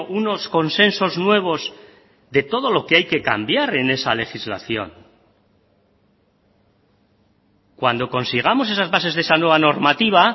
unos consensos nuevos de todo lo que hay que cambiar en esa legislación cuando consigamos esas bases de esa nueva normativa